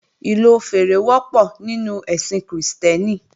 Ìlò fèèrè wọ́pọ̀ nínú ẹ̀sìn Krìstẹ́nì